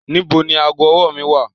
Nibo ni aago-ọwọ mi wa